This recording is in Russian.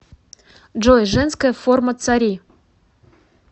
джой женская форма цари